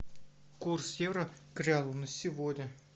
курс евро к реалу на сегодня